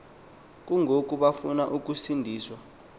kungoko bafuna ukuncediswa